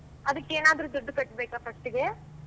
ಅದಕ್ಕೇನಾದ್ರೂ ದುಡ್ಡು ಕಟ್ಬೇಕಾ first ಇಗೆ?